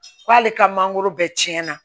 K'ale ka mangoro bɛɛ tiɲɛna